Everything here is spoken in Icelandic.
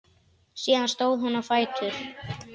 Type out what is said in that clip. Síðan stóð hún á fætur.